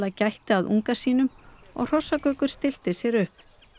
gætti að unga sínum og hrossagaukur styllti sér upp